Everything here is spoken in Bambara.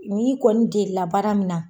N'i kɔni deli la baara min na